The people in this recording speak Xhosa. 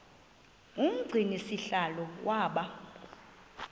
umgcini sihlalo waba